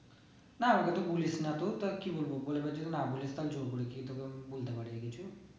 না আমাকে তো বলিস না তু তার কি বলবো বলবো যে না বলিস তো আমি জোর করে কি বলতে পারি কিছু